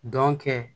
Dɔn kɛ